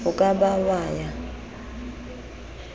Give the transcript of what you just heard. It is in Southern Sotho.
o ka ba wa ya